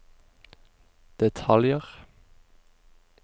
detaljer